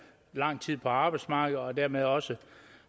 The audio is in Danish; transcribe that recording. lang tid på arbejdsmarkedet og dermed også